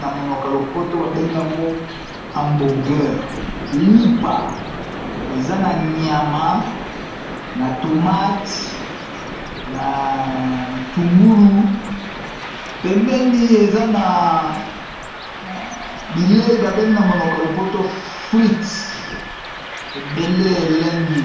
na monoka lopoto babengi yango hambourgeur lipa eza na nyama na tomate na bitungulu pembeni eza na bilei babengi na monoko a lopoto freet ebele elengi.